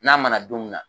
N'a mana don min na